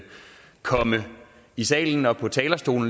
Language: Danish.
komme i salen og på talerstolen